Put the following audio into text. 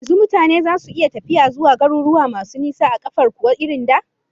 Yanzu mutane zasu iya tafiya zuwa garuruwa masu nisa a kafar kuwa irin da?